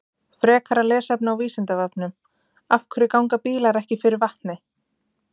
Frekara lesefni á Vísindavefnum: Af hverju ganga bílar ekki fyrir vatni?